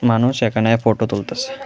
মানুষ এখানে ফটো তুলতাসে।